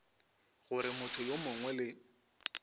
gore motho yo mongwe le